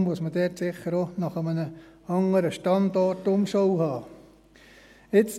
Deshalb muss man dort sicher auch nach einem anderen Standort Ausschau halten.